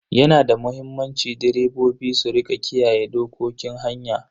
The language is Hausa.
Yana da muhimmanci direbobi su rika kiyaye dokokin hanya.